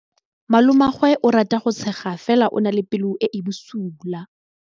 Malomagwe o rata go tshega fela o na le pelo e e bosula.